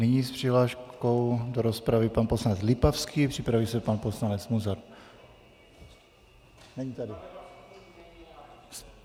Nyní s přihláškou do rozpravy pan poslanec Lipavský, připraví se pan poslanec Munzar.